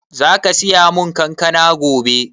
Zaka siya mun kankana gobe?